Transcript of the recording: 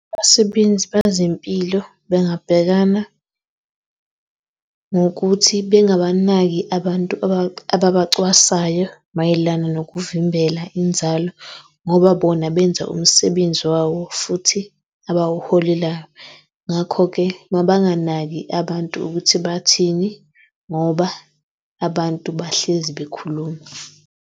Abasebenzi bezempilo bengabhekana ngokuthi bengabanaki abantu ababacwasayo mayelana nokuvimbela inzalo ngoba bona benza umsebenzi wawo futhi abawuholelayo. Ngakho-ke, mabanganaki abantu ukuthi bathini ngoba abantu bahlezi bekhuluma.